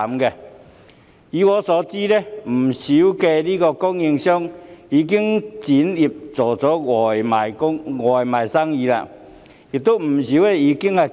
據我了解，許多學校飯盒供應商已轉型，改為經營外賣生意，另有不少已結業。